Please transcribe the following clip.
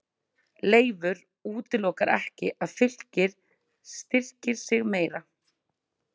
Leifur útilokar ekki að Fylkir styrkir sig meira.